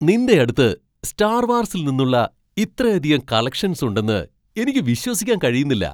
നിൻ്റെയടുത്ത് star വാർസിൽ നിന്നുള്ള ഇത്രയധികം കളക്ഷൻസ് ഉണ്ടെന്ന് എനിക്ക് വിശ്വസിക്കാൻ കഴിയുന്നില്ല.